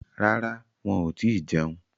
Rárá, wọn ò tíì jẹun.